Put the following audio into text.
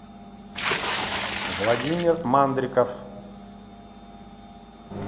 владимир мандриков